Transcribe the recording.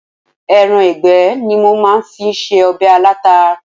Ẹran ìgbẹ́ ni mo fi máa ń se ọbẹ̀ alata.